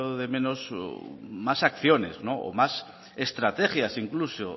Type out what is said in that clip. de menos más acciones o más estrategias incluso